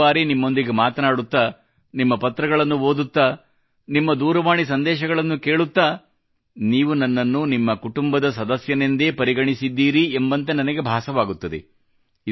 ಎಷ್ಟೋ ಸಾರಿ ನಿಮ್ಮೊಂದಿಗೆ ಮಾತನಾಡುತ್ತಾ ನಿಮ್ಮ ಪತ್ರಗಳನ್ನು ಓದುತ್ತಾ ನಿಮ್ಮ ದೂರವಾಣಿ ಸಂದೇಶಗಳನ್ನು ಕೇಳುತ್ತಾ ನೀವು ನನ್ನನ್ನು ನಿಮ್ಮ ಕುಟುಂಬದ ಸದಸ್ಯನೆಂದೇ ಪರಿಗಣಿದ್ದೀರಿ ಎಂಬಂತೆ ನನಗೆ ಭಾಸವಾಗುತ್ತದೆ